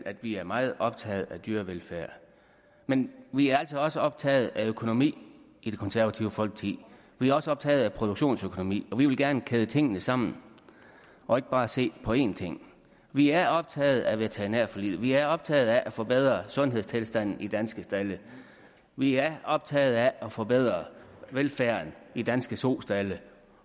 at vi er meget optaget af dyrevelfærd men vi er altså også optaget af økonomi i det konservative folkeparti vi er også optaget af produktionsøkonomi og vi vil gerne kæde tingene sammen og ikke bare se på én ting vi er optaget af veterinærforliget vi er optaget af at forbedre sundhedstilstanden i danske stalde vi er optaget af at forbedre velfærden i danske sostalde